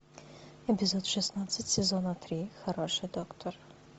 эпизод шестнадцать сезона три хороший доктор